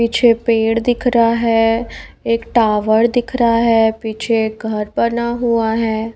पीछे पेड़ दिख रहा है एक टावर दिख रहा है पीछे एक घर बना हुआ है।